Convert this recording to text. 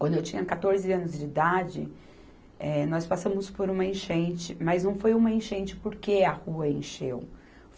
Quando eu tinha quatorze anos de idade, eh, nós passamos por uma enchente, mas não foi uma enchente porque a rua encheu.